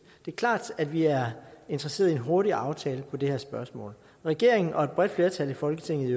det er klart at vi er interesserede i en hurtig aftale i det her spørgsmål regeringen og et bredt flertal i folketinget